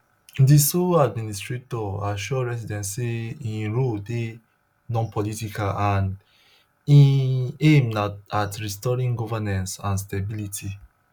di sole administrator assure residents say im role dey nonpolitical and im aim na at restoring governance and stability